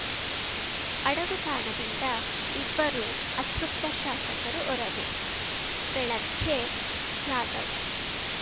ಅಡಗುತಾಣದಿಂದ ಇಬ್ಬರು ಅತೃಪ್ತ ಶಾಸಕರು ಹೊರಗೆ ಬೆಳಗ್ಗೆ ಜಾಧವ್‌